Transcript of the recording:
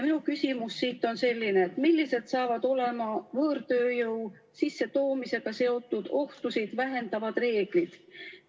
Minu küsimus on selline: millised saavad olema võõrtööjõu sissetoomisega seotud ohtusid vähendavad reeglid?